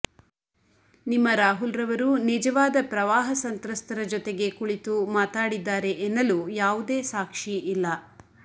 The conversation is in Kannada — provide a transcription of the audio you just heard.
ನಿಮ್ಮ ರಾಹುಲ್ ರವರು ನಿಜವಾದ ಪ್ರವಾಹ ಸಂತ್ರಸ್ತರ ಜೊತೆಗೆ ಕುಳಿತು ಮಾತಾಡಿದ್ದಾರೆ ಎನ್ನಲು ಯಾವುದೇ ಸಾಕ್ಷಿ ಇಲ್ಲ